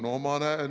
Aeg, Mart Helme!